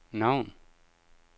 navn